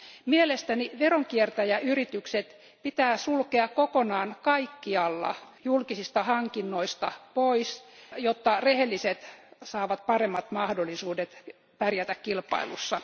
Mielestäni veronkiertäjäyritykset pitää sulkea kokonaan kaikkialla julkisista hankinnoista pois, jotta rehelliset saavat paremmat mahdollisuudet pärjätä kilpailussa.